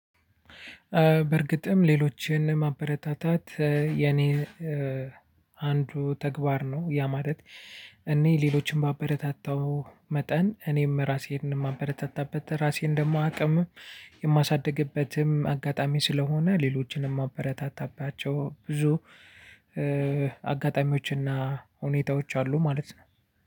በእርግጥም ሌሎችን ማበረታታት የኔ አንዱ ተግባር ነ። ያ ማለት እኔ ሌሎችን ባበረታታው መጠን እኔም ራሴን የማበረታታበት ራሴን ደግሞ አቅምም የማሳድግበትም አጋጣሚ ስለሆነ ሌሎችንም አበረታታባቸው ብዙ አጋጣሚዎችና ሁኔታዎች አሉ ማለት ነው።